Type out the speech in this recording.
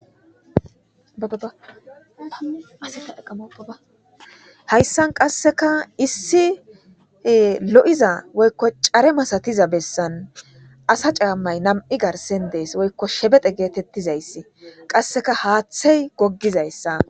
Hayssan qassekka issi lo7iza woykko care masathiza bessan asa caammay nam7i garssen des; woykko shebexe geetheththizayssi; qassikka haaththey goggizayssa.